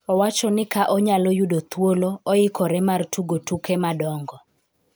Owacho ni ka onyalo oyudo thuolo oikore mar tugo tuke madongo